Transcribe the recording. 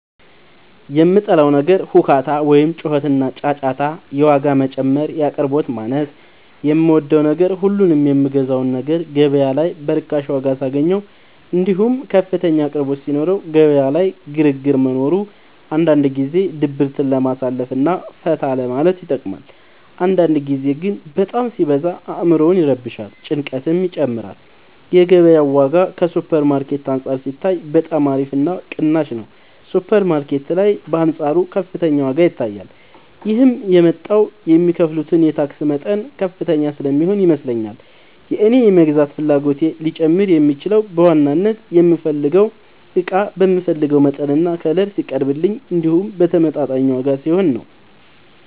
የምጠላው ነገር ሁካታ ወይም ጩኸትና ጫጫታ የዋጋ መጨመር የአቅርቦት ማነስ የምወደው ነገር ሁሉንም የምገዛውን ነገር ገበያ ላይ በርካሽ ዋጋ ሳገኘው እንዲሁም ከፍተኛ አቅርቦት ሲኖረው ገበያ ላይ ግርግር መኖሩ አንዳንድ ጊዜ ድብርትን ለማሳለፍ እና ፈታ ለማለት ይጠቅማል አንዳንድ ጊዜ ግን በጣም ሲበዛ አዕምሮን ይረብሻል ጭንቀትንም ይጨምራል የገበያው ዋጋ ከሱፐር ማርኬት አንፃር ሲታይ በጣም አሪፍ እና ቅናሽ ነው ሱፐር ማርኬት ላይ በአንፃሩ ከፍተኛ ዋጋ ይታያል ይህም የመጣው የሚከፍሉት የታክስ መጠን ከፍተኛ ስለሚሆን ይመስለኛል የእኔ የመግዛት ፍላጎቴ ሊጨምር የሚችለው በዋናነት የምፈልገው እቃ በምፈልገው መጠንና ከለር ሲቀርብልኝ እንዲሁም በተመጣጣኝ ዋጋ ሲሆን ነው።